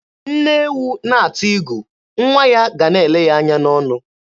Nne ewu na-ata igu, nwa ya ga a na-ele ya anya n'ọnụ.